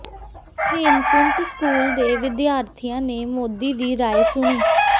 Hemkunt school ਦੇ ਵਿਦਿਆਰਥੀਆਂ ਨੇ ਮੋਦੀ ਦੀ ਰਾਇ ਸੁਣੀ